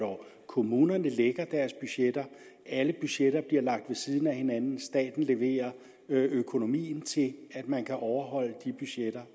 og kommunerne vi lægger deres budgetter alle budgetter bliver lagt ved siden af hinanden og staten leverer økonomien til at man kan overholde de budgetter